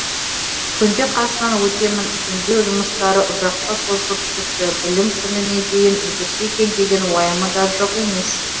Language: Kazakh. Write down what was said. күнде қасынан өтемін жөндеу жұмыстары ұзаққа созылып кетті білім күніне дейін үлгерсе екен деген уайымы да жоқ емес